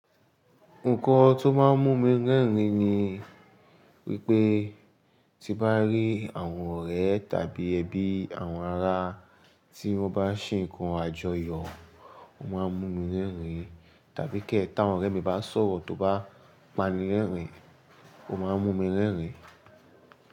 Nǹkan tó máa ń mú mi rẹ́rìn-ín ni wípé tí m bá rí àwọn ọ̀rẹ́ tàbí ẹbí àwọn ará tí wọ́n bá ń ṣe ǹkan àjọyọ̀, o máa ń mú mi rẹ́rìn-ín. Tàbí ke tí àwọn ọ̀rẹ́ mi bá ń sọ̀rọ̀ tó bá pánílẹ́rìn-ín, ó máa ń mú mi rẹ́rìn-ín.